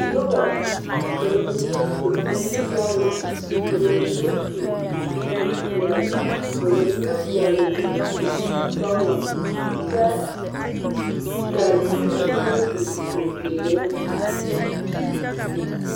Noba ka ba mine su bonsɔglɔ ka ba mine su bonpɛɛle ka ba mine vɔgeli zupili sɔglɔ kyɛ kaa ziiri mine e zi zeɛre